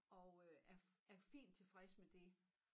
Og øh er er fint tilfreds med det